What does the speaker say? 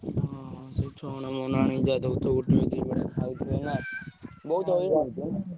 ହଁ ହଁ ସେଇ ଛଣ ମଣ ଆଣି ଯାହା ଦଉଥିବ ଖାଉଥିବେ ନା ବହୁତ୍ ହଇରାଣ ହଉଥିବ ।